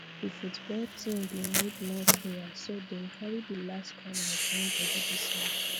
di football team bin need more players so dem carry di late comers join body this month